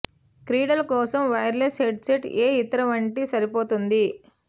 క్రీడల కోసం wireless headset ఏ ఇతర వంటి సరిపోతుంది